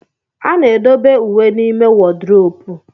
A na-edobe uwe n'ime wodrobu.